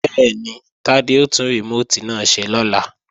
Bẹ́ẹ̀ni, Tádé ó tún rìmóòtì náà ṣe lọ́la